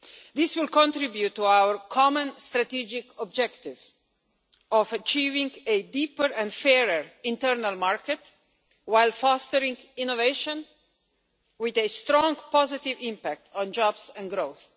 This will contribute to our common strategic objective of achieving a deeper and fairer internal market while fostering innovation, with a strong positive impact on jobs and growth.